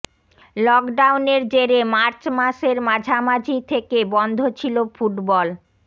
লকডাউনের জেরে মার্চ মাসের মাঝামাঝি থেকে বন্ধ ছিল ফুটবল